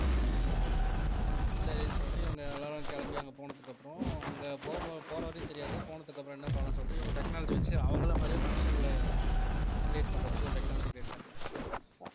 அப்பிடித்தான் போய்ட்டுருக்கும் சரின்னு சொல்லிட்டு இவங்க எல்லாரும் கிளம்பி அங்க போனதுக்கு அப்புறம் அங்க போற வரையும் தெரியாது போனதுக்கு அப்புறம் என்ன பண்ணலாம்ன்னு சொல்லிட்டு இவங்க technology வச்சு அவங்களை மாதிரியே மனுஷங்களை create பண்றதுக்கு ஒரு technology create பண்ணிட்டு இருப்பாங்க